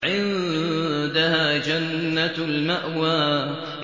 عِندَهَا جَنَّةُ الْمَأْوَىٰ